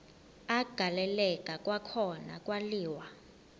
agaleleka kwakhona kwaliwa